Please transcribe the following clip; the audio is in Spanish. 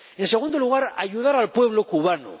En segundo lugar, ayudar al pueblo cubano.